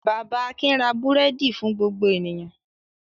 Bàbá Akin ra búrẹ́dì fún gbogbo ènìyàn.